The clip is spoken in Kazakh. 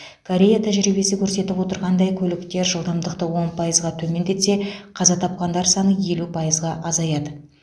корея тәжірибесі көрсетіп отырғандай көліктер жылдамдықты он пайызға төмендетсе қаза тапқандар саны елу пайызға азаяды